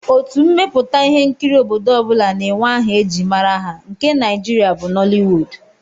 Otu mmepụta ihe nkiri nke obodo ọ bụla na-enwe aha e ji mara ha, nke Nigeria bụ Nollywood